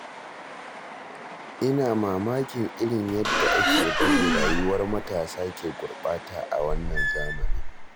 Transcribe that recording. Ina mamakin irin yadda ake bari rayuwar matasa ke gurɓata a wannan zamanin.